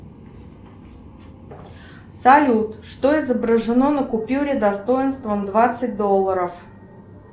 салют что изображено на купюре достоинством двадцать долларов